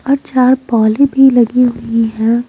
और चार पॉली भी लगी हुई हैं ।